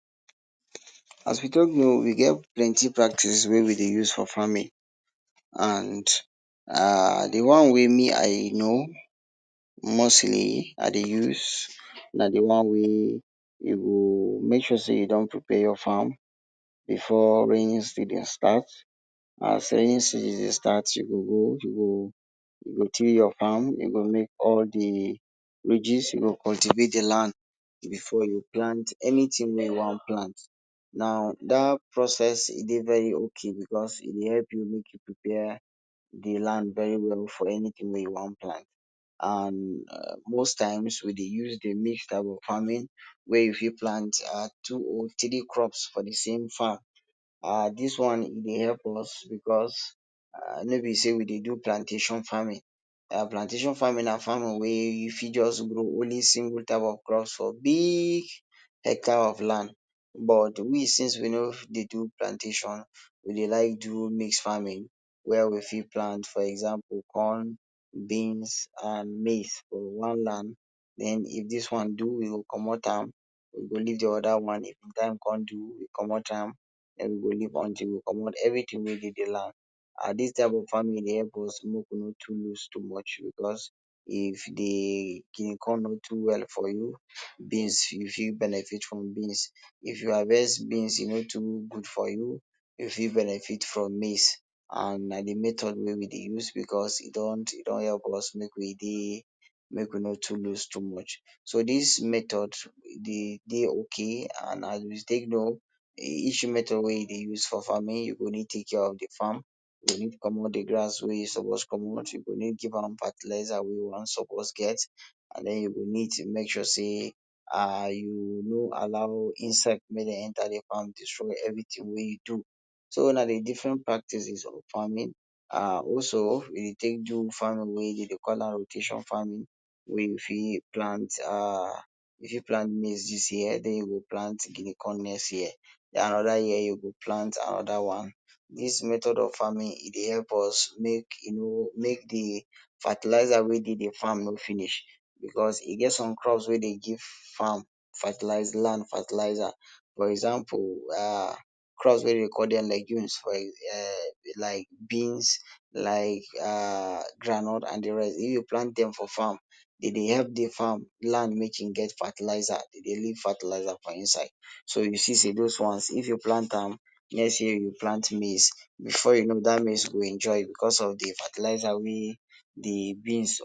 As we don know, we get plenty practice wey we dey use for farming and um di one wey me I know mostly, I dey use, na di one wey you go make sure sey you don prepare ya farm before raining season start. As raining season start, you go you go till your farm, you go make all di ridges, you go cultivate di land before you plant anyting wey you wan plant. Now dat process e dey very okay because e dey help you prepare di land very well for anyting wey you wan plant and um most times we dey use di mixed type of farming, wey you fit plant um two or three crops for di same farm. um Dis one will help us because no be say we dey do Plantation Farming. Plantation farming na farming wey you fit just grow only single type of crops for big hectare of land. But we since we no dey do plantation we dey like do mix farming wey we fit plant for example corn, beans and maize for one land. Den if dis one do we commot am, we go di oda one if di time come do we go commot am, den we go leave until we commot everytin wey dey di land. um dis type of farming dey help us make we no too loose too much because if di guinea corn no do well for you, beans you fit benefit from beans, if you harvest beans e no too good for you, you fit benefit from maize and na di method wey we dey use because e don help us make we dey make we no too loose too much. So dis method e dey ok and as we dey know each method wey we dey use for farming, make you always take care of di farm, make you commot di grass wey you suppose commot, you go need give am fertilizer wey land suppose get den you go need make sure say um you no allow insect make dem enter may dem enter di farm destroy everytin wey you do. So na di different practices for farming um also we take do farming wey dem dey call am rotation farming, wey you fit plant um maize dis year den you go plant guinea corn next year, another year you go plant another one, dis method of farming e dey help us make e no make di fertilizer wey dey di farm no finish because e get some crops wey dey give farm land fertilizer for example crops wey dey call dem legumes for um like beans like um groundnut and di rest if you plant dem for farm e dey help di farm land make e get fertilizer, e dey leave fertilizer for inside so you see say dose ones if you plant am next year you plant maize before you know dat maize go enjoy because of di fertilizer wey di beans